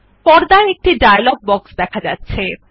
পর্দায় একটি dialog box দেখা যাচ্ছে